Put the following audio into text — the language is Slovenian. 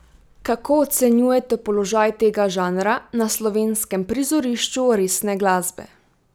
Kako ocenjujete položaj tega žanra na slovenskem prizorišču resne glasbe?